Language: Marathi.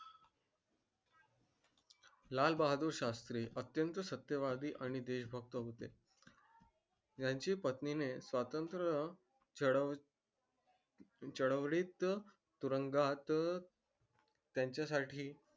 लाल बहादूर शास्त्री अत्यंत सत्यवादी आणि देश भक्त होते यांची पत्नी ने स्वतंत्र चळ चळवळीत तुरुंगात त्याच्या साठी